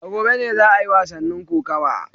A gobe ne za a yi wasannin kokawa